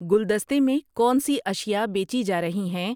گلدستے میں کون سی اشیاء بیچی جا رہی ہیں؟